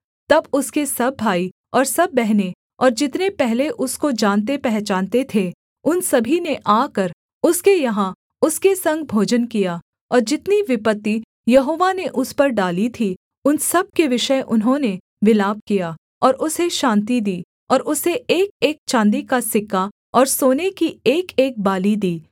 तब उसके सब भाई और सब बहनें और जितने पहले उसको जानतेपहचानते थे उन सभी ने आकर उसके यहाँ उसके संग भोजन किया और जितनी विपत्ति यहोवा ने उस पर डाली थीं उन सब के विषय उन्होंने विलाप किया और उसे शान्ति दी और उसे एकएक चाँदी का सिक्का और सोने की एकएक बाली दी